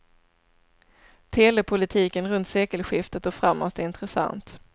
Telepolitiken runt sekelskiftet och framåt är intressant.